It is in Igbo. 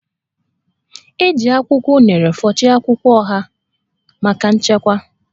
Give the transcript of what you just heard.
E ji akwụkwọ unere fụchie akwụkwọ oha maka nchekwa